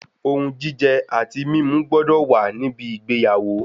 Ohun jíjẹ àti mímu gbọ́dọ̀ wa níbi ìgbéyàwó